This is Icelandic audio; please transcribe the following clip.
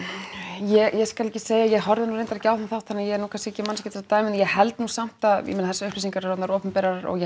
ég skal ekki segja ég horfði nú reyndar ekki á þann þátt þannig að ég er nú kannski ekki manneskjan til að dæma en ég held nú samt að ég meina þessar upplýsingar eru orðnar opinberar og ég held